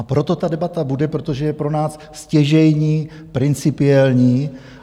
A proto ta debata bude, protože je pro nás stěžejní, principiální.